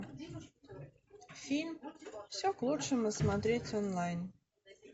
фильм все к лучшему смотреть онлайн